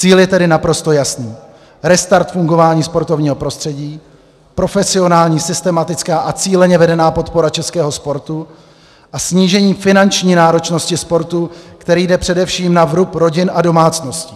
Cíl je tedy naprosto jasný - restart fungování sportovního prostředí, profesionální, systematická a cíleně vedená podpora českého sportu a snížení finanční náročnosti sportu, která jde především na vrub rodin a domácností.